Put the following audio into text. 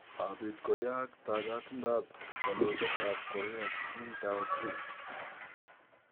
Maabiit koyaak taagatindo ap kandoindet ap Korea Kim Dae-jung